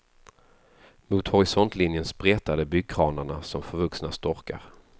Mot horisontlinjen spretade byggkranarna som förvuxna storkar.